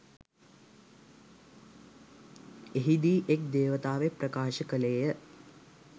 එහිදී එක් දේවතාවෙක් ප්‍රකාශ කළේය.